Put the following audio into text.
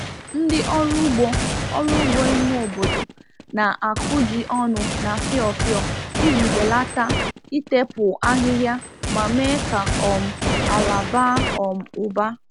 Ndị ọrụ ugbo ọrụ ugbo ime obodo na-akụ ji ọnụ na fiofio iji belata itepụ ahịhịa ma mee ka um ala baa um ụba.